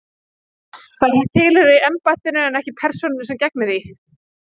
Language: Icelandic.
Það tilheyrir embættinu en ekki persónunni sem gegnir því.